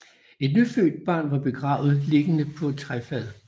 Et nyfødt barn var begravet liggende på et træfad